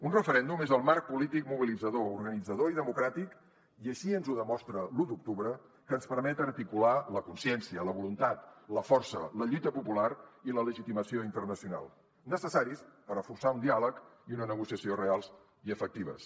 un referèndum és el marc polític mobilitzador organitzador i democràtic i així ens ho demostra l’u d’octubre que ens permet articular la consciència la voluntat la força la lluita popular i la legitimació internacional necessàries per a forçar un diàleg i una negociació reals i efectives